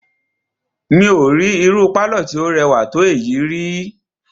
Mí ò rí irú pálọ̀ tí o rẹwà tó èyí ríi.